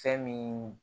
Fɛn min